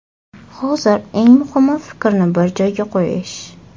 Hozir eng muhimi fikrni bir joyga qo‘yish”.